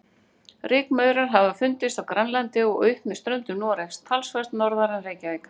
Rykmaurar hafa fundist á Grænlandi og upp með ströndum Noregs, töluvert norðar en Reykjavík.